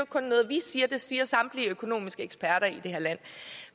kun noget vi siger det siger samtlige økonomiske eksperter i det her land